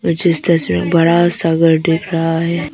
मुझे इस तस्वीर में बड़ा सा घर दिख रहा है।